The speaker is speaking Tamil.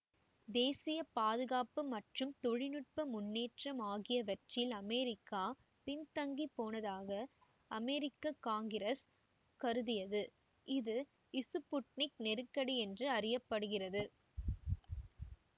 தேசிய பாதுகாப்பு மற்றும் தொழில் நுட்ப முன்னேற்றம் ஆகியவற்றில் அமெரிக்கா பின்தங்கிப் போனதாக அமெரிக்க காங்கிரசு கருதியது இது இசுப்புட்னிக் நெருக்கடி என்று அறிய படுகிறது